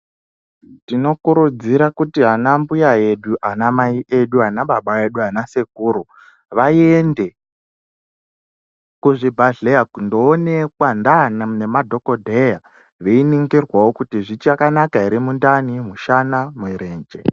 Tinokurudzira kuti anambuya edu, anamai edu, anababa edu anasekuru vaende kuzvibhedhleya kundoonekwa nemadhokodheya veiningirwawo kuti zvichakanaka ere mishana nemirenje.